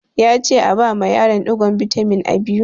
Ya ce a bama yaron ɗigon bitamin A biyu!